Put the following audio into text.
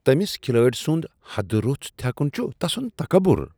تمس کھلٲڑۍ سند حد رُس تھیکن چھ تسند تکبر ۔